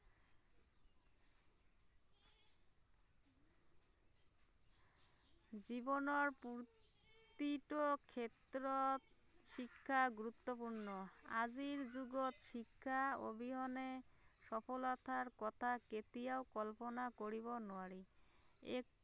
জীৱনৰ প্ৰতিটো ক্ষেত্ৰত শিক্ষা গুৰুত্বপূৰ্ণ আজিৰ যুগত শিক্ষাৰ অবিহনে সফলতাৰ কথা কেতিয়াও কল্পনা কৰিব নোৱাৰি, এই